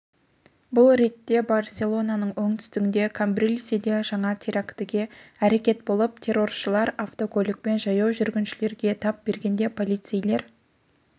бұл ретте барселонаның оңтүстігінде камбрильседе жаңа терактігі әрекет болды терроршылар автокөлікпен жаяу жүргіншілерге тап бергенде полицейлер